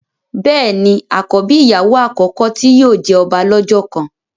béèni àkọ́bí ìyàwó àkọ́kọ́ tí yóò jẹ ọba lọ́jọ́ kan.